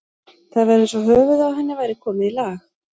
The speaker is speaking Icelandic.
Það var eins og höfuðið á henni væri komið í lag.